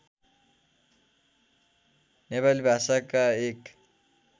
नेपाली भाषाका एक